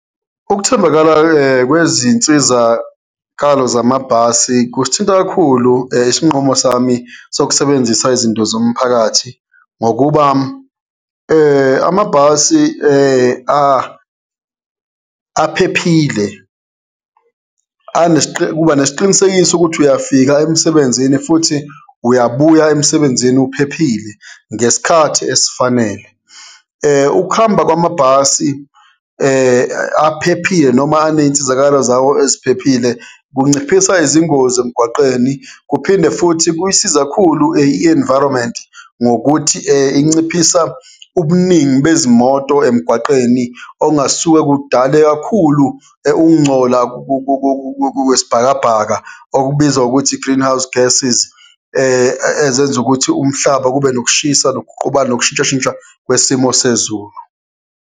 Ukuthembakala-ke kwezinsizakalo zamabhasi kusithinta kakhulu isinqumo sami sokusebenzisa izinto zomphakathi, ngokuba amabhasi aphephile, ubanesiqinisekiso ukuthi uyafika emsebenzini futhi uyabuya emsebenzini uphephile ngesikhathi esifanele. Ukuhamba kwamabhasi aphephile noma aneyinsizakalo zawo eziphephile, kunciphisa izingozi emgwaqeni, kuphinde futhi kuyisiza kakhulu i-environment ngokuthi inciphisa ubuningi bezimoto emgwaqeni ongasuke kudale kakhulu ukungcola kwesibhakabhaka okubizwa ngokuthi i-greenhouse gasses, ezenza ukuthi umhlaba kube nokushisa nokuguqubala nokushintshashintsha kwesimo sezulu.